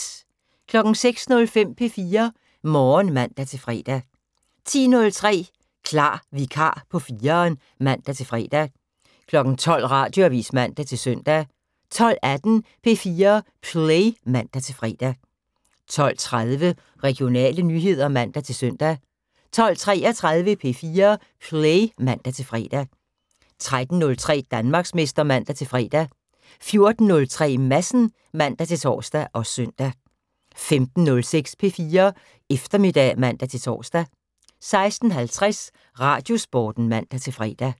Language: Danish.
06:05: P4 Morgen (man-fre) 10:03: Klar vikar på 4'eren (man-fre) 12:00: Radioavis (man-søn) 12:18: P4 Play (man-fre) 12:30: Regionale nyheder (man-søn) 12:33: P4 Play (man-fre) 13:03: Danmarksmester (man-fre) 14:03: Madsen (man-tor og søn) 15:06: P4 Eftermiddag (man-tor) 16:50: Radiosporten (man-fre)